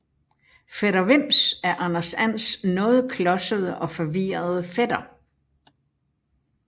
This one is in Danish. Fætter Vims er Anders Ands noget klodsede og forvirrede fætter